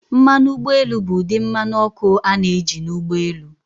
Mmanụ ụgbọ elu bụ ụdị mmanụ ọkụ a na-eji na ụgbọ elu.